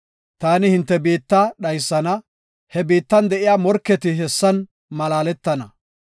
Taani hinte biitta dhaysana; he biittan de7iya morketi hessan malaaletana.